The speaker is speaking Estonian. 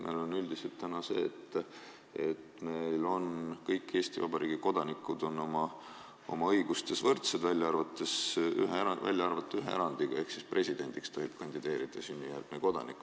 Meil on üldiselt niimoodi, et kõik Eesti Vabariigi kodanikud on oma õigustes võrdsed, välja arvatud ühe erandiga: presidendiks tohib kandideerida sünnijärgne kodanik.